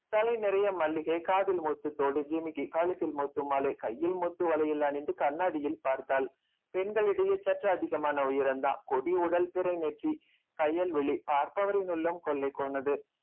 தலை நிறைய மல்லிகை காதில் முத்துத்தோடு ஜிமிக்கி கழுத்தில் முத்து மாலை கையில் முத்து வளையல் அணிந்து கண்ணாடியில் பார்த்தாள் பெண்களிடையே சற்று அதிகமான உயரம்தான் கொடி உடல் பிறை நெற்றி கயல்விழி பார்ப்பவரின் உள்ளம் கொள்ளை போனது